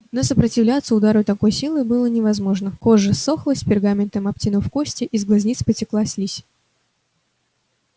но сопротивляться удару такой силы было невозможно кожа ссохлась пергаментом обтянув кости из глазниц потекла слизь